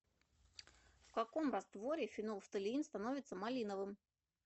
в каком растворе фенолфталеин становится малиновым